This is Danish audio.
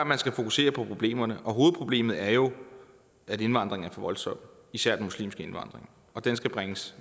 man skal fokusere på problemerne og hovedproblemet er jo at indvandringen er for voldsom især den muslimske indvandring og den skal bringes